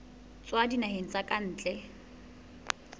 tswa dinaheng tsa ka ntle